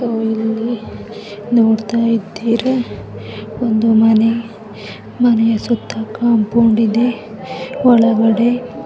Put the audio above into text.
ಇಲ್ಲಿ ನೋಡತಾ ಇದ್ದೀರಾ ಒಂದು ಮನೆ ಮನೆಯ ಸುತ್ತ ಕಾಂಪೌಂಡ್ ಇದೆ. ಒಳಗಡೆ--